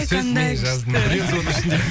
қандай күшті